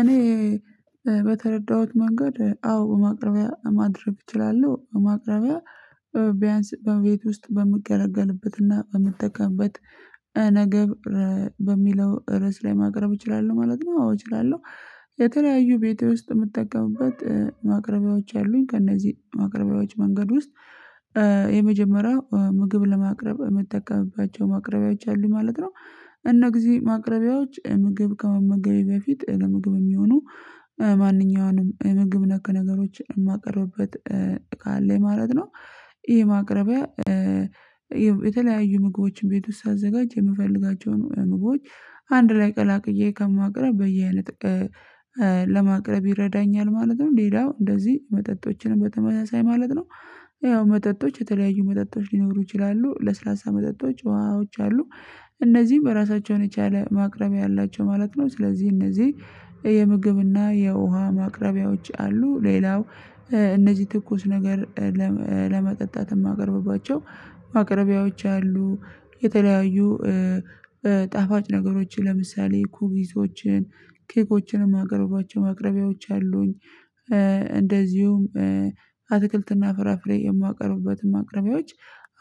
እኔ በተረዳሁት መንገድ አዎ ማቅረቢያ ማድረግ እችላለሁ ማቅረቢያ ቢያንስ በቤት ውስጥ በሚገለገልበትና በምጠቀምበት ነገር በሚለው ርዕስ ላይ ማቅረብ እችላለሁ ማለት ነው አዎ እችላለሁ። የተለያዩ ቤቴ ውስጥ የምጠቀምበት ማቅረቢያዎች አሉኝ ከእነዚህ ማቅረቢያዎች መንገድ ውስጥ የመጀመሪያው ምግብ ለማቅረብ የምጠቀምባቸው ማቅረቢያዎች አሉኝ ማለት ነው። እነዚህ ማቅረቢያዎች ምግብ ከመመገቤ በፊት ለምግብ የሚሆኑ ማንኛውንም የምግብ ነክ ነገሮችን የማቀርብበት ካለኝ ማለት ነው። ይሄ ማቅረቢያ የተለያዩ ምግቦችን ቤት ውስጥ ሳዘጋጅ የምፈልጋቸውን ምግቦች አንድ ላይ ቀላቅዬ ከማቅረብ በየ አይነት ለማቅረብ ይረዳኛል ማለት ነው። ሌላው እንደዚህ መጠጦችንም በተመሳሳይ ማለት ነው ያው መጠጦች የተለያዩ መጠጦች ሊኖሩ ይችላሉ ለስላሳ መጠጦች ውሃዎች አሉ እነዚህም ራሳቸውን የቻለ ማቅረብያ አላቸው ማለት ነው። ስለዚህ እነዚህ የምግብና የውሃ ማቅረቢያዎች አሉ ሌላው እነዚህ ትኩስ ነገር ለመ ለመጠጣት የማቀርብባቸው ማቅረቢያዎች አሉ። የተለያዩ ጣፋጭ ነገሮችን ለምሳሌ ኩክሶችን ኬኮችንም የማቀርብባቸው ማቅረቢያዎች አሉኝ። እንደዚሁም አትክልትና ፍራፍሬ የማቀርብበትም ማቅረቢያዎች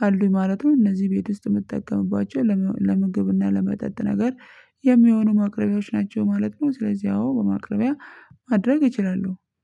አሉኝ ማለት ነው። እነዚህ ቤት ውስጥ የምጠቀምባቸው ለም ለምግብና ለመጠጥ ነገር የሚሆኑ ማቅረቢያዎች ናቸው ማለት ነው። ስለዚህ አዎ በማቅረቢያ ማድረግ እችላለሁ